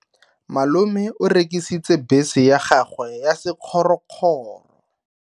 Malome o rekisitse bese ya gagwe ya sekgorokgoro.